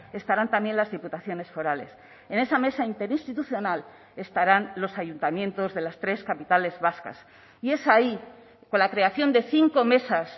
estarán también las diputaciones forales en esa mesa interinstitucional estarán los ayuntamientos de las tres capitales vascas y es ahí con la creación de cinco mesas